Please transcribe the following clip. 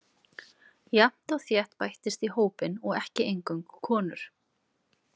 Jafnt og þétt bættist í hópinn og ekki eingöngu konur.